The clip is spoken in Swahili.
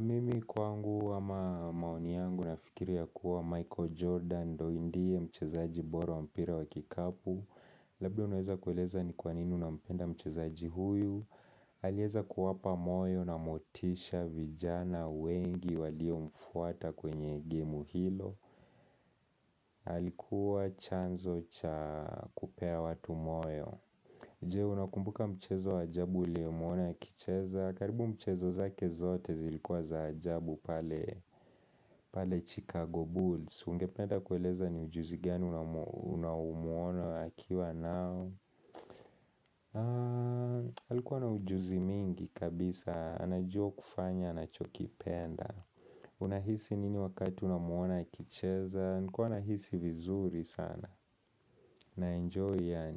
Mimi kwangu ama maoni yangu nafikiri ya kuwa Michael Jordan ndo ndie mchezaji bora wa mpira wa kikapu. Labda unaweza kueleza ni kwa nini unampenda mchezaji huyu. Aliweza kuwapa moyo na motisha vijana wengi walio mfuata kwenye gemu hilo. Alikuwa chanzo cha kupea watu moyo Je, unakumbuka mchezo ajabu ulio muona akicheza karibu mchezo zake zote zilikuwa za ajabu pale Chicago Bulls Ungependa kueleza ni ujuzi gani unaomuona akiwa nao Alikuwa na ujuzi mingi kabisa anajua kufanya anachokipenda Unahisi nini wakati unamuona kicheza? Nilikuwa na hisi vizuri sana na enjoy and.